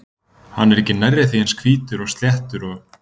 Hann er ekki nærri því eins hvítur og sléttur og